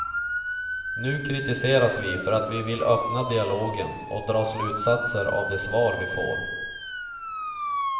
Nu kritiseras vi för att vi vill öppna dialogen och dra slutsatser av de svar vi får.